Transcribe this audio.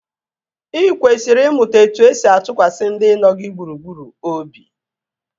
Ị kwesịrị ịmụta etu-esi atụkwasị ndị nọ gị gburugburu obi